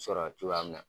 Sɔrɔ cogoya min na